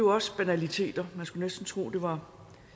også banaliteter man skulle næsten tro at det var